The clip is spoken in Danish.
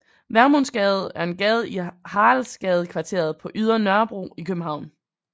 Vermundsgade er en gade i Haraldsgadekvarteret på Ydre Nørrebro i København